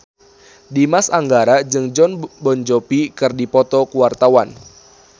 Dimas Anggara jeung Jon Bon Jovi keur dipoto ku wartawan